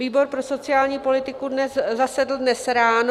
Výbor pro sociální politiku zasedl dnes ráno.